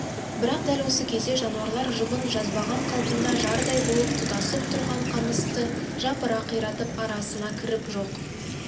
бірақ дәл осы кезде жануарлар жұбын жазбаған қалпында жардай болып тұтасып тұрған қамысты жапыра қиратып арасына кіріп жоқ